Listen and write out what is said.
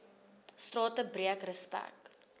strate breek respek